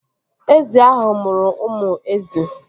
Ezi ahụ mụrụ ụmụ ezi